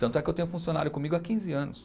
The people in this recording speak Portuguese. Tanto é que eu tenho funcionário comigo há quinze anos.